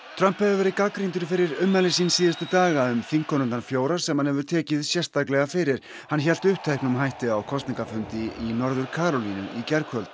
Trump hefur verið gagnrýndur fyrir ummæli sín síðustu daga um þingkonurnar fjórar sem hann hefur tekið sérstaklega fyrir hann hélt uppteknum hætti á kosningafundi í Norður Karólínu í gærkvöld